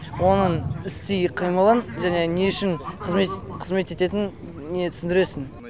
оның істи қимылын және не үшін қызмет ететін не түсіндіресің